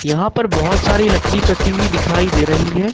यहां पर बहुत सारी लकड़ी कटी हुई दिखाई दे रही है।